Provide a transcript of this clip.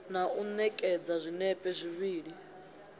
na u ṋekedza zwinepe zwivhili